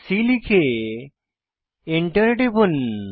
c লিখে Enter টিপুন